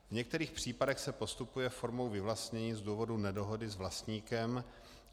V některých případech se postupuje formou vyvlastnění z důvodu nedohody s vlastníkem.